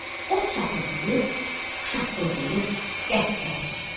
Od çatırdıyıb, şaqqıldıyıb, qəhqəhə çəkdi.